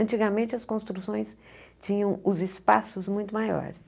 Antigamente, as construções tinham os espaços muito maiores.